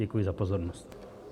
Děkuji za pozornost.